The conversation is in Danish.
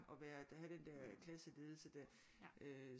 Og være have den der klasseledelse der